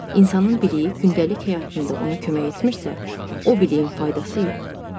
İnsanın biliyi gündəlik həyatında ona kömək etmirsə, o biliyin faydası yoxdur.